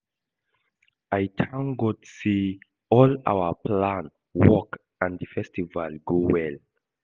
I thank God say all our plan work and the festival go well